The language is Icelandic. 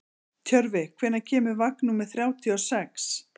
Tjörfi, hvenær kemur vagn númer þrjátíu og sex?